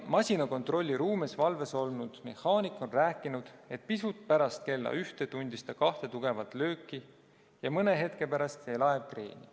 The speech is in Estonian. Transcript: Masina kontrollruumis valves olnud mehaanik on rääkinud, et pisut pärast kella ühte tundis ta kahte tugevat lööki ja mõne hetke pärast vajus laev kreeni.